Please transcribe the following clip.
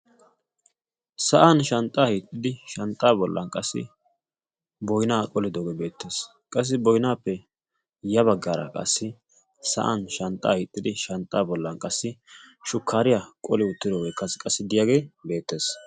sa'an shanxxaa hiixxidi shanxxaa bollan qassi boynaa qolidoogee beettees qassi boynaappe ya baggaara qassi sa'an shanxxaa hiixxidi shanxxa bollan qassi shukkaariyaa qoli uttiroogee as qassi diyaagee beettees